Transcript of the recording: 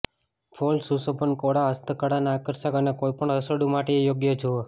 fall સુશોભન કોળા હસ્તકળાના આકર્ષક અને કોઈપણ રસોડું માટે યોગ્ય જુઓ